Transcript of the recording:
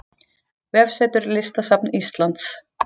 Vefsetur Listasafns Íslands